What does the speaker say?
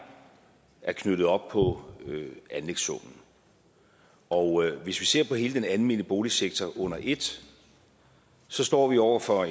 er knyttet op på anlægssummen og hvis vi ser på hele den almene boligsektor under ét står vi over for